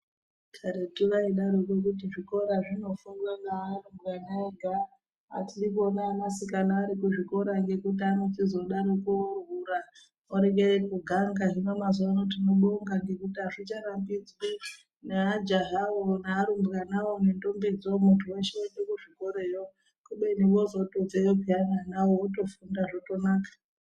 Karetu vaidaroko kuti zvikora zvinofundwa ngearumbwana ega atidi kuona anasikana arikuzvikora ngekuti anochizodaroko ohura orekere kuganga hino mazuvano tinobonga nekuti azvicharambidzwi neajahawo nearumbwanawo nentombidzo muntu weshe oende kuzvikoreyo kubeni vozotobveyo piyani anawo wotoziona zvotonaka.